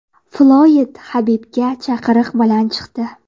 Floyd Habibga chaqiriq bilan chiqdi.